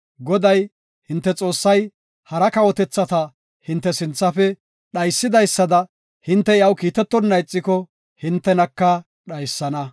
Goday, hinte Xoossay hara kawotethata hinte sinthafe dhaysidaysada hinte iyaw kiitetonna ixiko hintenaka dhaysana.